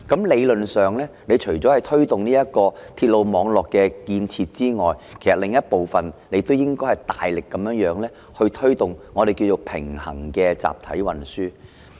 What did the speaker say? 理論上，除了推動鐵路網絡建設之外，亦應大力推動平衡集體運輸。